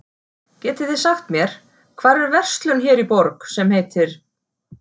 Getiði sagt mér, hvar er verslun hér í borg, sem heitir